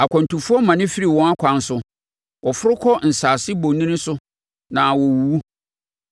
Akwantufoɔ mane firi wɔn akwan so; wɔforo kɔ nsase bonini so na wɔwuwu.